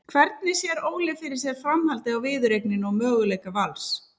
Hvernig sér Óli fyrir sér framhaldið á viðureigninni og möguleika Vals?